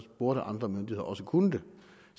burde andre myndigheder også kunne det